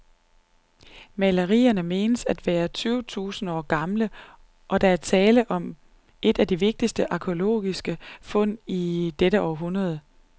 Malerierne menes at være tyve tusinde år gamle, og der er tale om et af de vigtigste arkæologiske fund i dette århundrede.